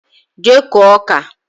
Jee kụọ ọka!